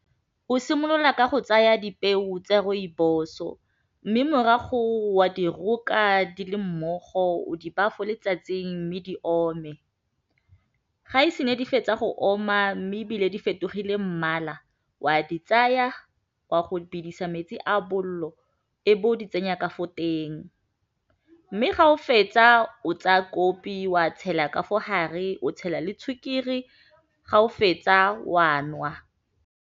O simolola ka go tsaya dipeo tsa rooibos-o mme morago wa di roka di le mmogo o di ba fo letsatsing mme di ome ga e se ne di fetsa go oma mme ebile di fetogile mmala wa di tsaya wa go bidisa metsi a bolelo e be o di tsenya ka fo teng mme ga o fetsa o tsaya kopi wa tshela ka fo gare o tshela le ga o fetsa wa nwa.